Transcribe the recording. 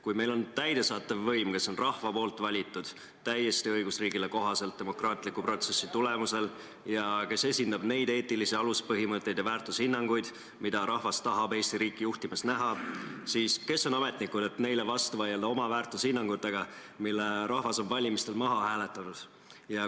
Kui meil on täidesaatev võim, kelle rahvas on valinud täiesti õigusriigile kohaselt demokraatliku protsessi tulemusel ning kes esindab neid eetilisi aluspõhimõtteid ja väärtushinnanguid, mida rahvas tahab Eesti riiki juhtimas näha, siis kes on ametnikud, et vastu vaielda oma väärtushinnangutega, mille rahvas on valimistel maha hääletanud!